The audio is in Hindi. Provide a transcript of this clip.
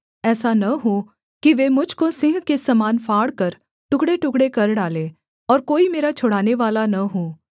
ऐसा न हो कि वे मुझ को सिंह के समान फाड़कर टुकड़ेटुकड़े कर डालें और कोई मेरा छुड़ानेवाला न हो